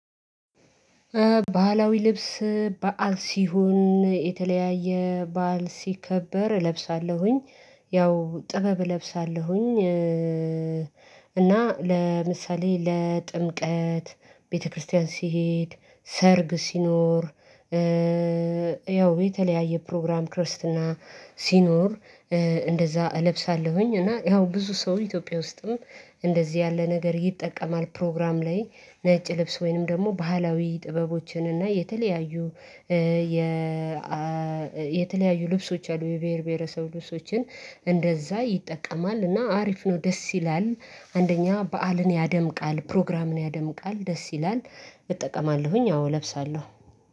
ባህላዊ ልብስ በዓል ሲሆን የተለያየ በዓል ሲከበር እለብሳለሁኝ ያው ጥበብ እለብሳለሁኝ። እና ለምሳሌ ለጥምቀት ቤተክርስቲያን ስሄድ ሰርግ ሲኖር ያው የተለያየ ፕሮግራም ክርስትና ሲኖር እንደዛ እለብሳለሁኝ። እና ያው ብዙ ሰው ኢትዮጵያ ውስጥም እንደዚህ ያለ ነገር ይጠቀማል ፕሮግራም ላይ ነጭ ልብስ ወይንም ደግሞ ባህላዊ ጥበቦችን እና የተለያዩ የ የተለያዩ ልብሶች አሉ የብሄር ብሄረሰብ ልብሶችን እንደዛ ይጠቀማል እና አሪፍ ነው። ደስ ይላል አንደኛ በዓልን ያደምቃል ፕሮግራምን ያደምቃል ደስ ይላል። እጠቀማለሁኝ አዎ እለብሳለሁ።